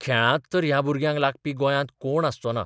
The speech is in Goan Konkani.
खेळांत तर ह्या भुरग्यांक लागपी गोंयांत कोण आसचो ना.